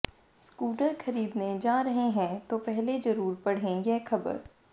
scooter खरीदने जा रहे हैं तो पहले जरूर पढ़ें यह खबर